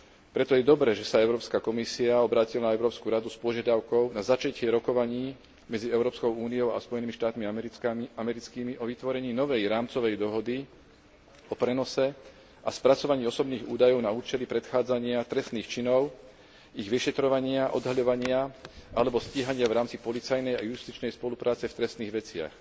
Preto je dobré, že sa Európska komisia obrátila na Európsku radu s požiadavkou na začatie rokovaní medzi Európskou úniou a Spojenými štátmi americkými o vytvorení novej rámcovej dohody o prenose a spracovaní osobných údajov na účely predchádzania trestných činov, ich vyšetrovania, odhaľovania alebo stíhania v rámci policajnej a justičnej spolupráce v trestných veciach.